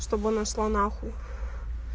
чтобы она шла на хуй